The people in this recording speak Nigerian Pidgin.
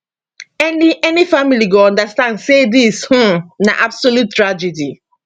any any family go understand say dis um na absolute tragedy